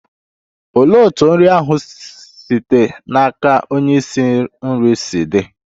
Olee otú nri ahụ site n'aka onye isi nri si di?